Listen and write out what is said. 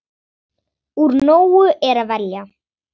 Úr nógu er að velja!